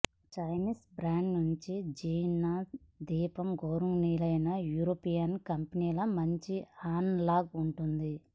Chinese brand నుండి xenon దీపం గౌరవనీయులైన యూరోపియన్ కంపెనీల మంచి అనలాగ్ ఉంటుంది